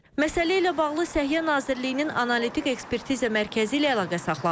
Məsələ ilə bağlı Səhiyyə Nazirliyinin Analitik Ekspertiza Mərkəzi ilə əlaqə saxladıq.